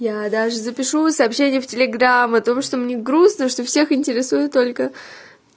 я даже запишу сообщение в телеграм потому что мне грустно что всех интересует только